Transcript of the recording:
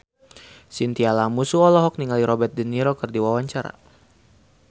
Chintya Lamusu olohok ningali Robert de Niro keur diwawancara